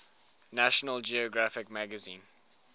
national geographic magazine